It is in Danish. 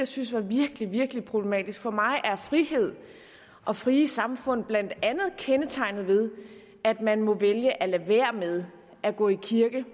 synes var virkelig virkelig problematisk for mig er frihed og frie samfund blandt andet kendetegnet ved at man må vælge at lade være med at gå i kirke